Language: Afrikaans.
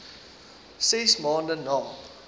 ses maande na